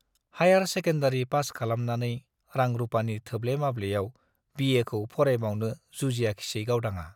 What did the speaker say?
Higher secondary pass खालामनानै रां- रुपानि थोब्ले माब्लेयाव बिएखौ फरायबावनो जुजियाखिसै गावदांआ ।